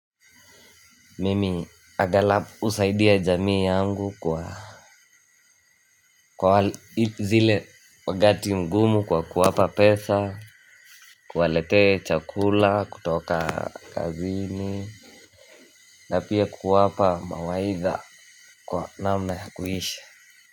Mimi agalau husaidia jamii yangu kwa kwa zile wakati mgumu kwa kuwapa pesa. Kuwaletee chakula kutoka kazini. Na pia kuwapa mawaidha kwa namna ya kuisha.